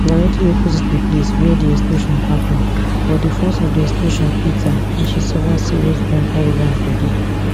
directly opposite di place wia di explosion happun but di force of di explosion hit her and she suffer serious burn all over her bodi